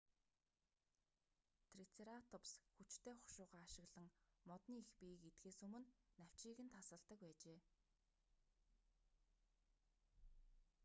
трицератопс хүчтэй хушуугаа ашиглан модны их биеийг идэхээс өмнө навчийг нь тасалдаг байжээ